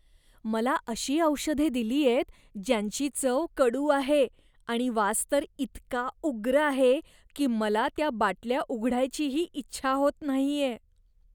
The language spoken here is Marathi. मला अशी औषधे दिलीयेत, ज्यांची चव कडू आहे आणि वास तर इतका उग्र आहे की मला त्या बाटल्या उघडायचीही इच्छा होत नाहीये.